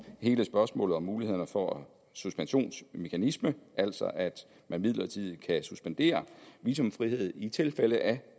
hele spørgsmålet om mulighederne for suspensionsmekanisme altså at man midlertidigt kan suspendere visumfrihed i tilfælde af